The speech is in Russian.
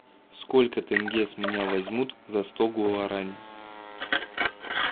сколько тенге с меня возьмут за сто гуарани